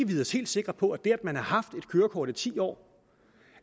vide os helt sikre på at det at man har haft et kørekort i ti år